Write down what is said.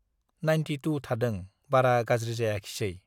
Ninety two थादों, बारा गाज्रि जायाखिसै।